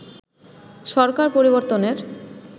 সরকার পরিবর্তনের